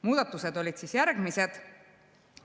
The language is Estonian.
Muudatused on järgmised.